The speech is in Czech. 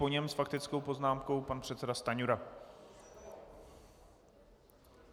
Po něm s faktickou poznámkou pan předseda Stanjura.